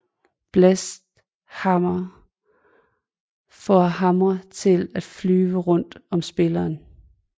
Blessed hammer får hamre til at flyve rundt om spilleren